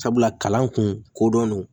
Sabula kalan kun kodɔn